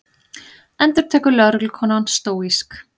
endurtekur lögreglukonan stóísk.